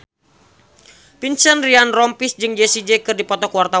Vincent Ryan Rompies jeung Jessie J keur dipoto ku wartawan